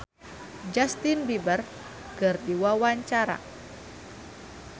Ashanti olohok ningali Justin Beiber keur diwawancara